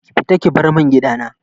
Ki fita ki bar mun gidana!